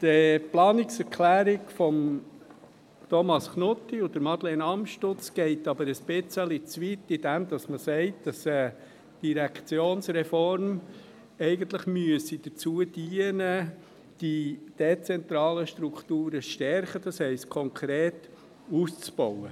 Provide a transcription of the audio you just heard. Die Planungserklärung von Thomas Knutti und Madeleine Amstutz geht aber ein bisschen zu weit, indem man sagt, dass die Direktionsreform eigentlich dazu dienen müsse, die dezentralen Strukturen zu stärken, das heisst konkret, sie auszubauen.